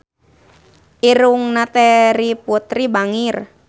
Irungna Terry Putri bangir